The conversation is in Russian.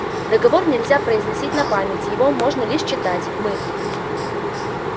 договор нельзя произносить на память его можно лишь читать мы